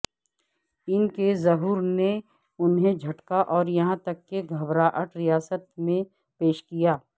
ان کی ظہور نے انہیں جھٹکا اور یہاں تک کہ گھبراہٹ ریاست میں پیش کیا